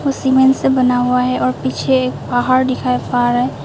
cement से बना हुआ है और पीछे पहाड़ दिखाई पा रहे--